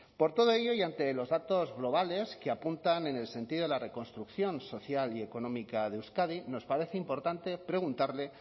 por todo ello y ante los datos globales que apuntan en el sentido de la reconstrucción social y económica de euskadi nos parece importante preguntarle